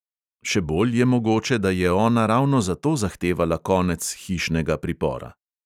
Še bolj je mogoče, da je ona ravno zato zahtevala konec hišnega pripora.